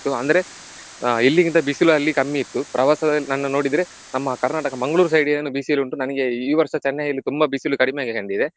ಅಂದ್ರೆ ಆ ಇಲ್ಲಿಗಿಂತ ಬಿಸಿಲಿ ಅಲ್ಲಿ ಕಮ್ಮಿ ಇತ್ತು. ಪ್ರವಾಸದಲ್ಲಿ ನೋಡಿದ್ರೆ ನಮ್ಮ ಕರ್ನಾಟಕ ಮಂಗಳೂರು side ಏನು ಬಿಸಿಲುಂಟು ನನಿಗೆ ಈ ವರ್ಷ ಚೆನ್ನೈಯಲ್ಲಿ ತುಂಬಾ ಬಿಸಿಲು ಕಡಿಮೆ ಆಗಿ ಕಂಡಿದೆ.